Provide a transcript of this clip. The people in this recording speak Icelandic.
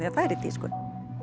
er í tísku